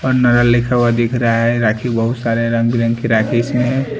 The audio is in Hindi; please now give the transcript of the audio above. और नरल लिखा हुआ दिख रहा हैं राखी बहुत सारे रंग बिरंग की राखी इसमें हैं ।